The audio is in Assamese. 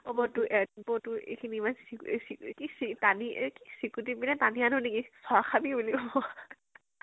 বৌ টোৰ বৌ টোৰ ইখিনি ইমানে চিকু চিকু কিচি টানি একি চিকুতী পিনে টানি আনো নেকি? চৰ খাবি বুলি কব